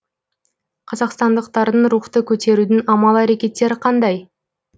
қазақстандықтардың рухты көтерудің амал әрекеттері қандай